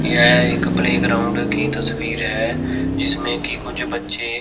यह एक playground की तस्वीर है जिसमे की कुछ बच्चे--